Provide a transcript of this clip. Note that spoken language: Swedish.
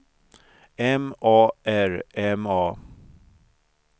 M A R M A